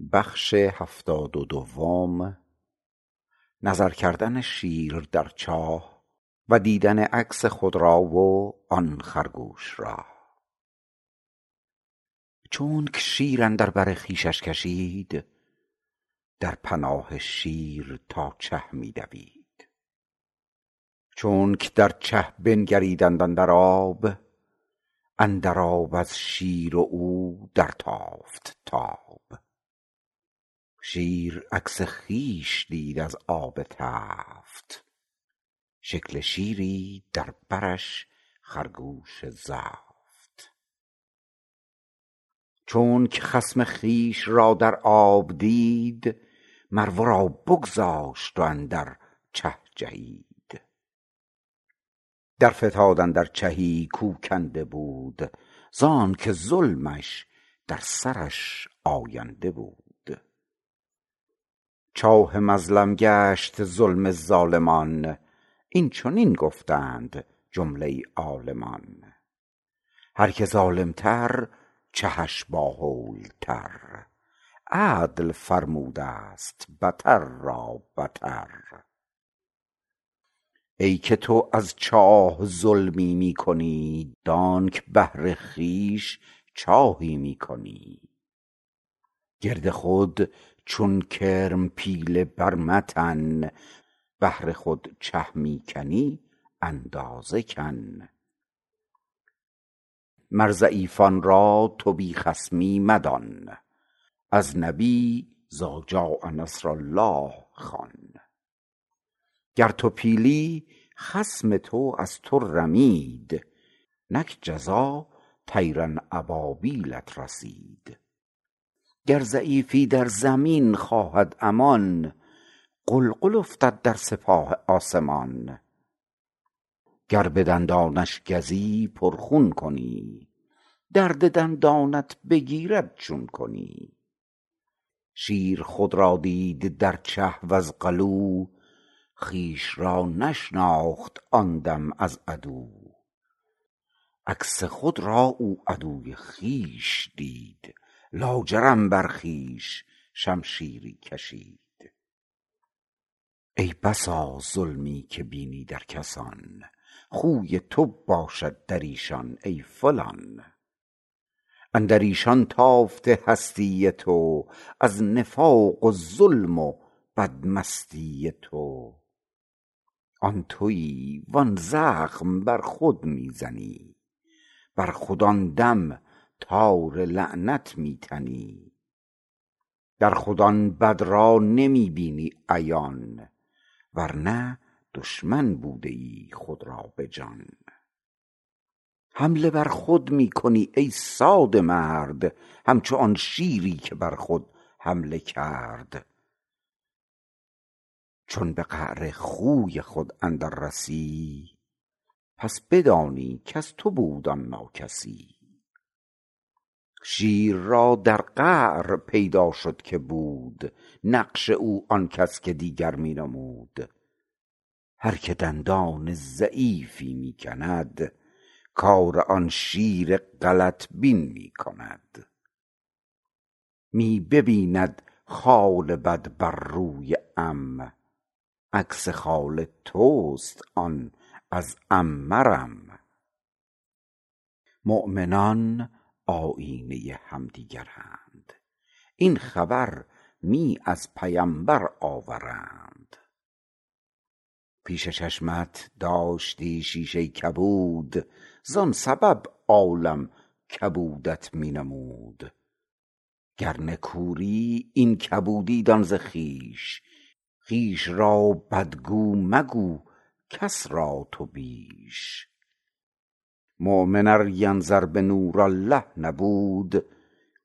چونک شیر اندر بر خویشش کشید در پناه شیر تا چه می دوید چونک در چه بنگریدند اندر آب اندر آب از شیر و او در تافت تاب شیر عکس خویش دید از آب تفت شکل شیری در برش خرگوش زفت چونک خصم خویش را در آب دید مر ورا بگذاشت و اندر چه جهید در فتاد اندر چهی کو کنده بود زانک ظلمش در سرش آینده بود چاه مظلم گشت ظلم ظالمان این چنین گفتند جمله عالمان هر که ظالم تر چهش با هول تر عدل فرمودست بتر را بتر ای که تو از جاه ظلمی می کنی دانک بهر خویش چاهی می کنی گرد خود چون کرم پیله بر متن بهر خود چه می کنی اندازه کن مر ضعیفان را تو بی خصمی مدان از نبی إذجاء نصر الله خوان گر تو پیلی خصم تو از تو رمید نک جزا طیرا أبابیلت رسید گر ضعیفی در زمین خواهد امان غلغل افتد در سپاه آسمان گر بدندانش گزی پر خون کنی درد دندانت بگیرد چون کنی شیر خود را دید در چه وز غلو خویش را نشناخت آن دم از عدو عکس خود را او عدو خویش دید لاجرم بر خویش شمشیری کشید ای بسا ظلمی که بینی در کسان خوی تو باشد دریشان ای فلان اندریشان تافته هستی تو از نفاق و ظلم و بد مستی تو آن توی و آن زخم بر خود می زنی بر خود آن دم تار لعنت می تنی در خود آن بد را نمی بینی عیان ورنه دشمن بودیی خود را بجان حمله بر خود می کنی ای ساده مرد همچو آن شیری که بر خود حمله کرد چون به قعر خوی خود اندر رسی پس بدانی کز تو بود آن ناکسی شیر را در قعر پیدا شد که بود نقش او آنکش دگر کس می نمود هر که دندان ضعیفی می کند کار آن شیر غلط بین می کند می ببیند خال بد بر روی عم عکس خال تست آن از عم مرم مؤمنان آیینه همدیگرند این خبر می از پیمبر آورند پیش چشمت داشتی شیشه کبود زان سبب عالم کبودت می نمود گر نه کوری این کبودی دان ز خویش خویش را بد گو مگو کس را تو بیش مؤمن ار ینظر بنور الله نبود